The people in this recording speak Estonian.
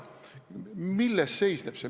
Milles see seisneb?